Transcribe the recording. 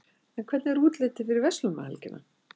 en hvernig er útlitið fyrir verslunarmannahelgina